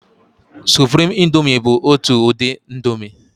Suprimi índomi bụ ọtu udi índomi.